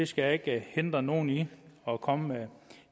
skal ikke hindre nogen i at komme med